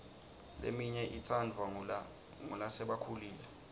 leminye itsandvwa ngulasebakhulile